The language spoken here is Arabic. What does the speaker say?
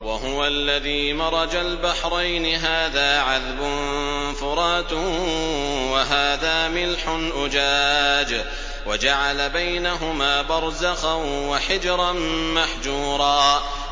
۞ وَهُوَ الَّذِي مَرَجَ الْبَحْرَيْنِ هَٰذَا عَذْبٌ فُرَاتٌ وَهَٰذَا مِلْحٌ أُجَاجٌ وَجَعَلَ بَيْنَهُمَا بَرْزَخًا وَحِجْرًا مَّحْجُورًا